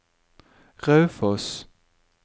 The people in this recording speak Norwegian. Raufoss